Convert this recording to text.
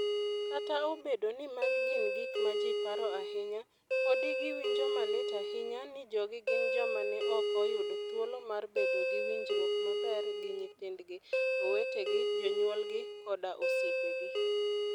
Kata obedo ni magi gin gik ma ji paro ahinya, podi giwinjo malit ahinya ni jogi gin joma ne ok oyudo thuolo mar bedo gi winjruok maber gi nyithindgi, owetegi, jonyuolgi koda osiepegi.